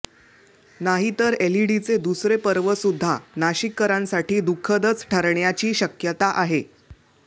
नाहीतर एलईडीचे दुसरे पर्वसुद्धा नाशिककरांसाठी दुःखदच ठरण्याची शक्यता आहे